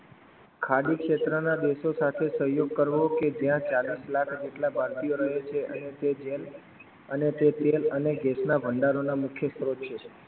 ખાડી ક્ષેત્રો ના દેસઓ સાથે સહયોગ કરવો કે જ્યાં ચાલીસ લાખ જેટલા ભારતીયો રહે છે અને તે જેમ અને તે તેલ અને ગેસના ભંડારોના મુખ્ય સ્ત્રોત છે.